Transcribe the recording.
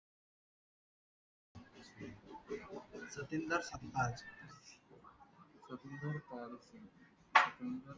सचिन स